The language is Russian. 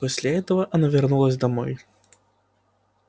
после этого она вернулась домой